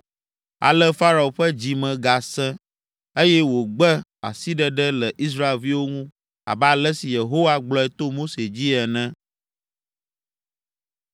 Ale Farao ƒe dzi me gasẽ, eye wògbe asiɖeɖe le Israelviwo ŋu abe ale si Yehowa gblɔe to Mose dzi ene.